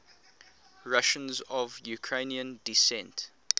russians of ukrainian descent